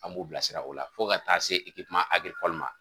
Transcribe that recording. An b'u bilasira o la fo ka taa se ma